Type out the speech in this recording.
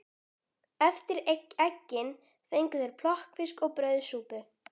Eftir eggin fengu þeir plokkfisk og brauðsúpu.